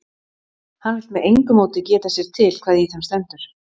Hann vill með engu móti geta sér til hvað í þeim stendur.